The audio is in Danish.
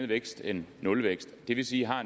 vækst end nulvækst det vil sige har